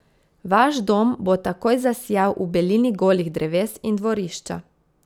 Vaš dom bo takoj zasijal v belini golih dreves in dvorišča.